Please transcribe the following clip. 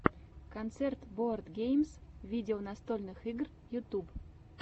концерт боардгеймс видео настольных игр ютуб